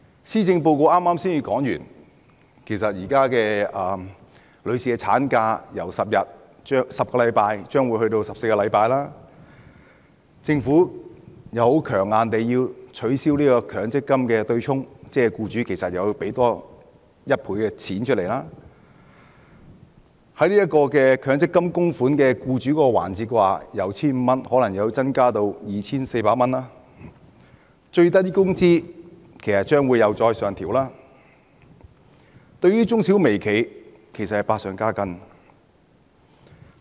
施政報告才剛剛提出將婦女產假由10星期增至14星期，政府又強硬地要取消強積金對沖，換言之，僱主要多付1倍金額，而強積金供款方面，僱主供款可能由 1,500 元增至 2,400 元，最低工資又將會上調，對於中小微企其實是百上加斤。